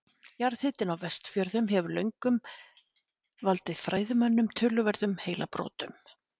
Jarðhitinn á Vestfjörðum hefur löngum valdið fræðimönnum töluverðum heilabrotum.